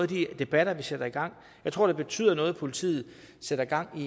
de debatter vi sætter i gang jeg tror det betyder noget at politiet sætter gang